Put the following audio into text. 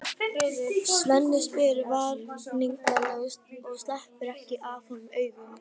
Svenni spyr vafningalaust og sleppir ekki af honum augunum.